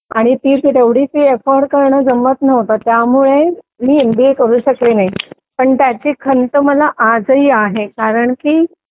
आणि ती तेवढी फी परवडणं पण शक्य नव्हतं त्यामुळे मी एमबीए करू शकले नाही पण त्याची खंत मला आजही आहे कारण की